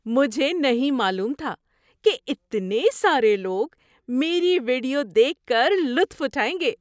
مجھے نہیں معلوم تھا کہ اتنے سارے لوگ میری ویڈیو دیکھ کر لطف اٹھائیں گے!